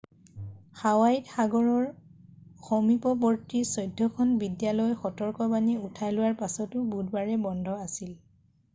হাৱাইত সাগৰৰ সমীপৱৰ্তী চৈধ্যখন বিদ্যালয় সতৰ্কবাণী উঠাই লোৱাৰ পাছতো বুধবাৰে বন্ধ আছিল